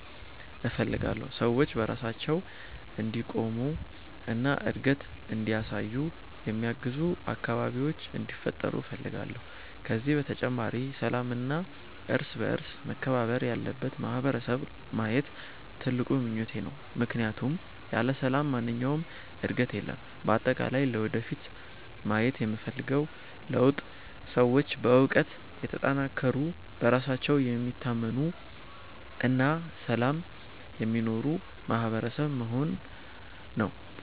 እፈልጋለሁ። ሰዎች በራሳቸው እንዲቆሙ እና እድገት እንዲያሳዩ የሚያግዙ አካባቢዎች እንዲፈጠሩ እፈልጋለሁ። ከዚህ በተጨማሪ ሰላምና እርስ በእርስ መከባበር ያለበት ማህበረሰብ ማየት ትልቁ ምኞቴ ነው፣ ምክንያቱም ያለ ሰላም ማንኛውም ዕድገት የለም። በአጠቃላይ ለወደፊት ማየት የምፈልገው ለውጥ ሰዎች በእውቀት የተጠናከሩ፣ በራሳቸው የሚታመኑ እና በሰላም የሚኖሩ ማህበረሰብ መሆን ነው።